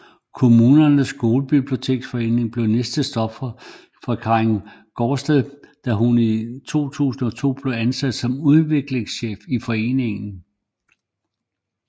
Kommunernes Skolebiblioteksforening blev næste stop for Karin Gaardsted da hun i 2002 blev ansat som udviklingschef i foreningen